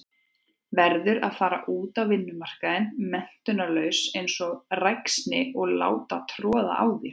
Verður að fara út á vinnumarkaðinn menntunarlaus einsog ræksni og láta troða á þér.